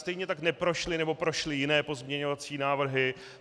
Stejně tak neprošly nebo prošly jiné pozměňovací návrhy.